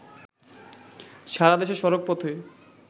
সারাদেশে সড়কপথে